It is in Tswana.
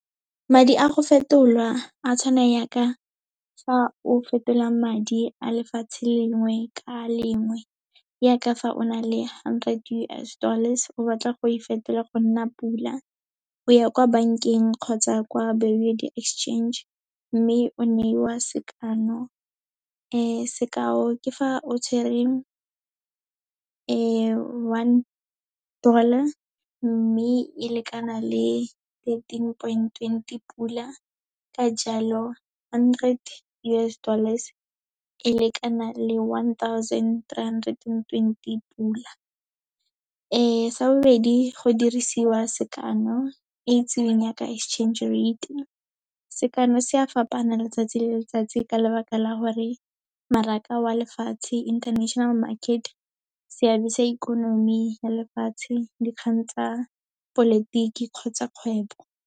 Madi a go fetolwa, a tshwana yaka fa o fetola madi a lefatshe lengwe ka lengwe, yaka fa o na le hundred U_S dollars, o batla go e fetola go nna pula. O ya kwa bankeng kgotsa kwa Bureau Exchange, mme o neiwa sekano, sekao ke fa o tshwere one dollar, mme e lekana le thirteen point twenty pula. Ka jalo, hundred U_S dollars e lekana le one thousand, tree hundred and twenty pula. Sa bobedi, go dirisiwa sekano, e itsiweng yaka exchange rate-e. Sekano se a fapana letsatsi le letsatsi ka lebaka la gore, mmaraka wa lefatshe, international market, seabe sa ikonomi ya lefatshe, dikgang tsa polotiki kgotsa kgwebo.